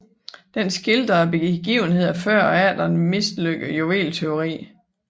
Den skildrer begivenhederne før og efter et mislykket juvelértyveri